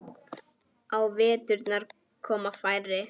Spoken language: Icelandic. Á veturna koma færri.